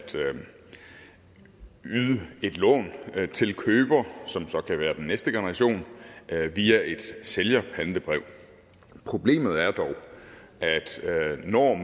yde et lån til køber som så kan være den næste generation via et sælgerpantebrev problemet er dog at